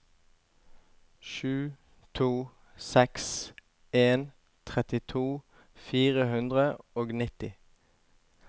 sju to seks en trettito fire hundre og nitti